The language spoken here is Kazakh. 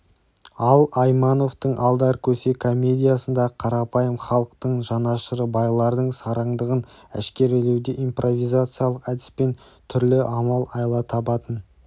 ал аймановтың алдар көсе комедиясындағы қарапайым халықтың жанашыры байлардың сараңдығын әшкерелеуде импровизациялық әдіспен түрлі амал-айла табатын